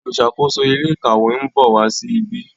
oluṣakoso ilé ìkàwé nbọ wá sí ìbi.